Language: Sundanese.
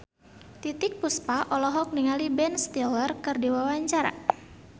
Titiek Puspa olohok ningali Ben Stiller keur diwawancara